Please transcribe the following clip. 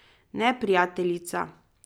Ne prijateljica.